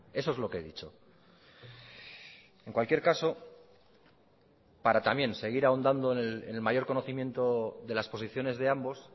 eso es lo que he dicho en cualquier caso para también seguir ahondando en el mayor conocimiento de las posiciones de ambos